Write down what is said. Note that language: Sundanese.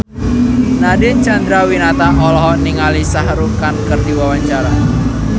Nadine Chandrawinata olohok ningali Shah Rukh Khan keur diwawancara